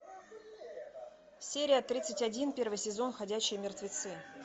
серия тридцать один первый сезон ходячие мертвецы